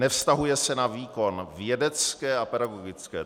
Nevztahuje se na výkon vědecké a pedagogické.